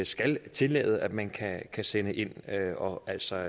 skal tillade at man kan sende ind og altså